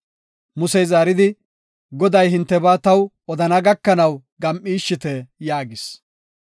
Musey zaaridi, “Goday hintebaa taw odana gakanaw gam7ishite” yaagis.